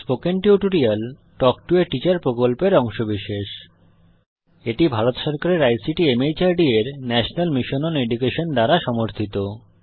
spoken tutorial talk to a teacher প্রকল্পের অংশবিশেষ এটি ভারত সরকারের আইসিটি মাহর্দ এর ন্যাশনাল মিশন ওন এডুকেশন দ্বারা সমর্থিত